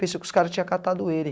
Pensei que os cara tinha catado ele.